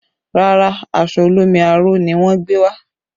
Rárá, aṣọ olómi aró ni wọn gbé wá